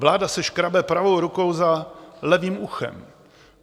Vláda se škrábe pravou rukou za levým uchem.